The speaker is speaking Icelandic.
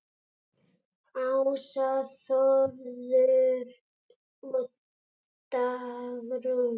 Ása, Þórður og Dagrún.